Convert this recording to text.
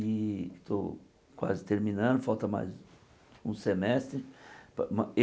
E estou quase terminando, falta mais um semestre pa ma êh.